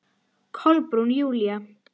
Síðar komu Claus og Ruth.